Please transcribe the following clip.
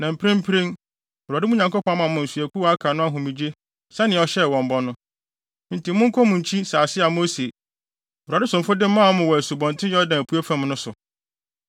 Na mprempren Awurade, mo Nyankopɔn ama mmusuakuw a aka no ahomegye sɛnea ɔhyɛɛ wɔn bɔ no. Enti monkɔ mo nkyi wɔ asase a Mose, Awurade somfo no de maa mo wɔ Asubɔnten Yordan apuei fam no so.